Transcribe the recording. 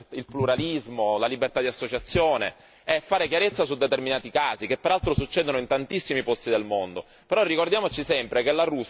la libertà dei media, il pluralismo, la libertà di associazione e fare chiarezza su determinati casi che peraltro succedono in tantissimi posti del mondo.